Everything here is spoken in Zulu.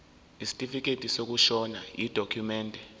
isitifikedi sokushona yidokhumende